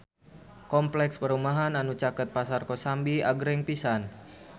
Kompleks perumahan anu caket Pasar Kosambi agreng pisan